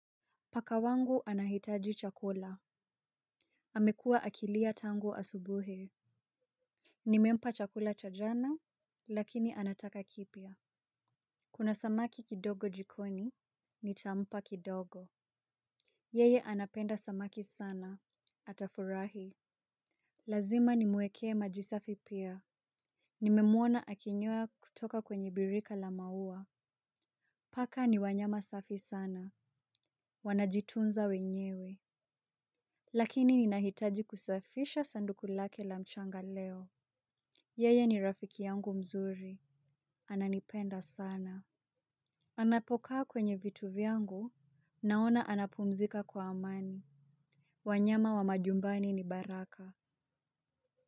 Paka wangu anahitaji chakula amekua akilia tangu asubuhi. Nimempa chakula cha jana lakini anataka kipya. Kuna samaki kidogo jikoni nitampa kidogo. Yeye anapenda samaki sana atafurahi. Lazima nimwekee maji safi pia. Nimemwona akinyoa kutoka kwenye birika la maua. Paka ni wanyama safi sana. Wanajitunza wenyewe. Lakini ninahitaji kusafisha sanduku lake la mchanga leo. Yeye ni rafiki yangu mzuri. Ananipenda sana. Anapokaa kwenye vitu vyangu. Naona anapumzika kwa amani. Wanyama wa majumbani ni baraka.